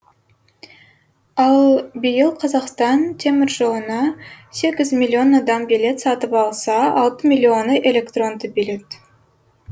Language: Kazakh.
ал биыл қазақстан теміржолына сегіз миллион адам билет сатып алса алты миллионы электронды билет